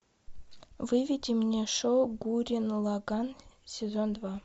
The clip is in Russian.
выведи мне шоу гуррен лаганн сезон два